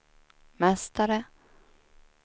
mästare